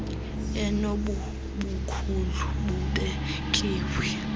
enobo bukhulu bubekiweyo